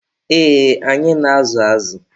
Ee, anyị na-azụ azụ.